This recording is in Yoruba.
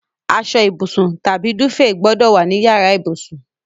Asọ ìbùsùn tàbí dúfèè gbọ́dọ̀ wà ní yàrá ìbùsùn.